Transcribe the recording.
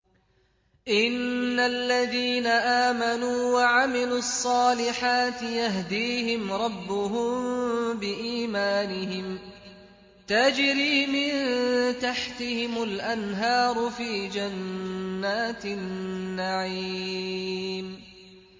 إِنَّ الَّذِينَ آمَنُوا وَعَمِلُوا الصَّالِحَاتِ يَهْدِيهِمْ رَبُّهُم بِإِيمَانِهِمْ ۖ تَجْرِي مِن تَحْتِهِمُ الْأَنْهَارُ فِي جَنَّاتِ النَّعِيمِ